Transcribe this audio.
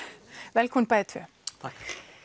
velkomin bæði tvö takk